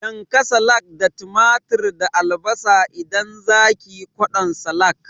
Yanka salak da tumatir da albasa idan zakiyi kwaɗon salak